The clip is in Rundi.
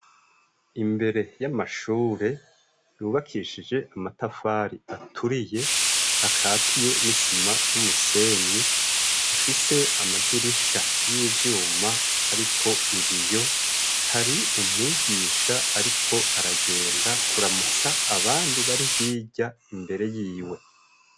Imbere y'amashure yubakishije amatafari aturiye akatiye n'isima r'umusenyi afise amadirisha y'ivyuma ariko ibiyo, hari umwigisha ariko aragenda kuramutsa abandi bari hirya imbere yiwe.